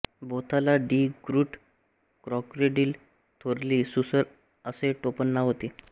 बोथाला Die Groot crocodile थोरली सुसर असे टोपणनाव होते